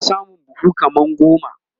Ina samun buhu kaman goma